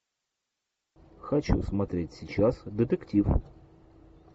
хочу смотреть сейчас детектив